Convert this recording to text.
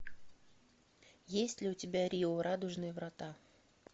есть ли у тебя рио радужные врата